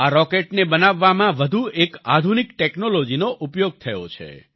આ રોકેટને બનાવવામાં વધુ એક આધુનિક ટેક્નોલોજીનો ઉપયોગ થયો છે